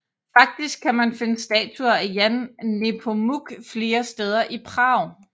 Faktisk kan man finde statuer af Jan Nepomuk flere steder i Prag